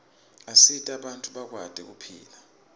asita bantfu bakwati kuphila